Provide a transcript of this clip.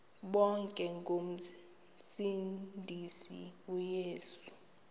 bonke ngomsindisi uyesu